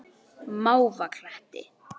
Mávakletti